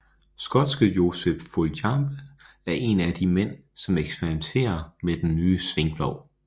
Skotske Joseph Foljambe er en af de mænd som eksperimentere med den nye svingplov